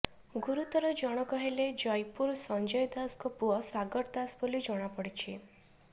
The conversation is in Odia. ଗୁରୁତର ଜଣକ ହେଲେ ଜଇପୁର ସଂଜୟ ଦାସଙ୍କ ପୁଅ ସାଗର ଦାସ ବୋଲି ଜଣାପଡିଛି